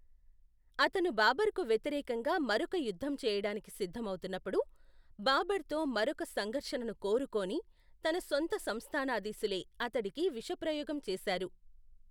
అతను బాబర్కు వ్యతిరేకంగా మరొక యుద్ధం చేయడానికి సిద్ధమవుతున్నప్పుడు, బాబర్తో మరొక సంఘర్షణను కోరుకోని, తన సొంత సంస్థానాధీశులే అతడికి విషప్రయోగం చేశారు.